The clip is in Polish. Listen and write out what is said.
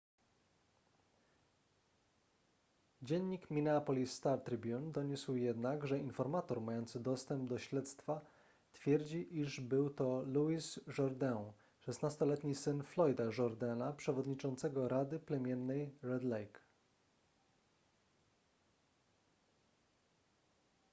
dziennik minneapolis star-tribune doniósł jednak że informator mający dostęp do śledztwa twierdzi iż był to louis jourdain 16-letni syn floyda jourdaina przewodniczącego rady plemiennej red lake